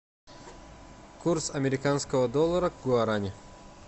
курс американского доллара к гуарани